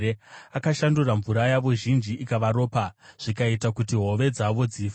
Akashandura mvura yavo zhinji ikava ropa, zvikaita kuti hove dzavo dzife.